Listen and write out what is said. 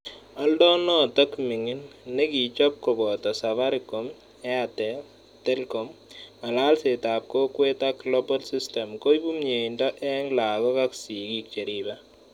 Oldo nootok ming'in, nekigichob koboto Safaricom, airtel, telkom, ng'alalset ap kokwet ak Global systems, koibu myeindo eng' lagook ak sigiik cheriibe.